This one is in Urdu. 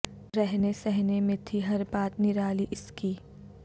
رہنے سہنے میں تھی ہر بات نرالی اس کی